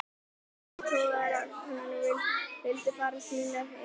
Leiðtogar Úkraínu vildu fara sínar eigin leiðir.